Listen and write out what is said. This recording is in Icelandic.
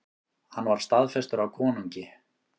Hann var staðfestur af konungi.